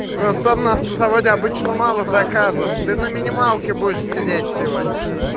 да просто там на автозаводе обычно мало заказов ты на минималке будешь сидеть сегодня